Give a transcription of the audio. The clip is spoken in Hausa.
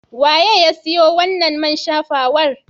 Waye ya siyo wannan man shafawar?